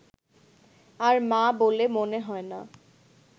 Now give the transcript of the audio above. আর মা বলে মনে হয় না